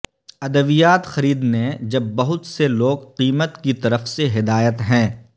ادویات خریدنے جب بہت سے لوگ قیمت کی طرف سے ہدایت ہیں